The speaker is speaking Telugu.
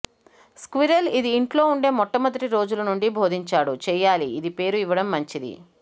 స్క్విరెల్ ఇది ఇంట్లో ఉండే మొట్టమొదటి రోజుల నుండి బోధించాడు చేయాలి ఇది పేరు ఇవ్వడం మంచిది